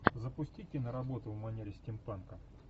запусти киноработу в манере стимпанка